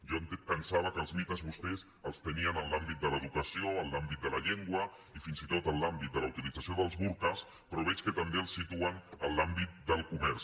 jo pensava que els mites vostès els tenien en l’àmbit de l’educació en l’àmbit de la llengua i fins i tot en l’àmbit de la utilització dels burques però veig que també els situen en l’àmbit del comerç